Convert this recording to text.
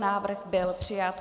Návrh byl přijat.